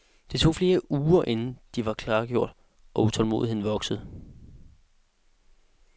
Det tog flere uger inden de var klargjort, og utålmodigheden voksede.